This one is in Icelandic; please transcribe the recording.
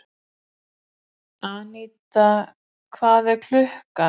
Anína, hvað er klukkan?